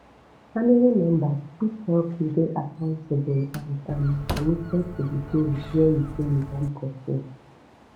family members fit help you dey accountable and um committed to di goals wey you say you wan pursue